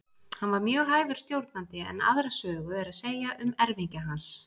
Hann var mjög hæfur stjórnandi en aðra sögu er að segja um erfingja hans.